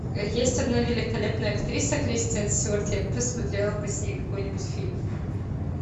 есть одна великолепная актриса кристен стюарт я бы посмотрела бы с ней какой нибудь фильм